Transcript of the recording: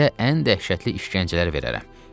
Sizə ən dəhşətli işgəncələr verərəm.